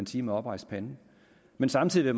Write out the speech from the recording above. sige med oprejst pande men samtidig